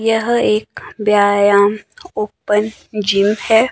यह एक व्यायाम ओपन जिम है।